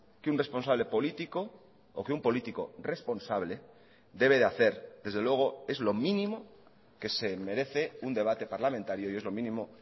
que un responsable político o que un político responsable debe de hacer desde luego es lo mínimo que se merece un debate parlamentario y es lo mínimo